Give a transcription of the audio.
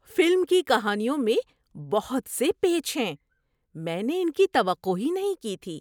Film کی کہانیوں میں بہت سے پیچ ہیں! میں نے ان کی توقع ہی نہیں کی تھی۔